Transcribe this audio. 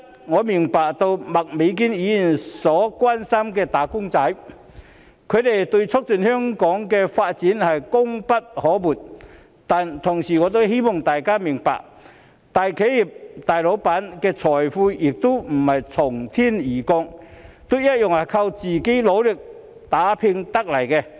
我明白到麥美娟議員所關心的"打工仔"對促進香港的發展功不可沒，但我同時希望大家明白，大企業、大老闆的財富亦不是從天而降的，同樣都是靠自己努力打拼得來的。